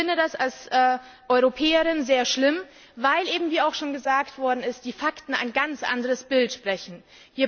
Ich finde das als Europäerin sehr schlimm, weil eben wie auch schon gesagt worden ist die Fakten ein ganz anderes Bild zeigen.